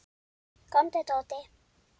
Komdu, Tóti.